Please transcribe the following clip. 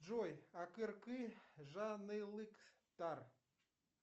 джой акэркэ жанылыктар